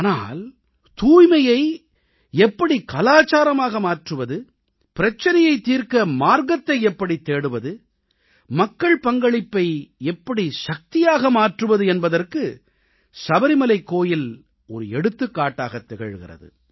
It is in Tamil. ஆனால் தூய்மையை எப்படி கலாச்சாரமாக மாற்றுவது பிரச்சினையைத் தீர்க்கவொரு வழியை எப்படித் தேடுவது மக்கள் பங்களிப்பை எப்படி சக்தியாக மாற்றுவது என்பதற்கு சபரிமலைக் கோயில் ஒரு எடுத்துக்காட்டாகத் திகழ்கிறது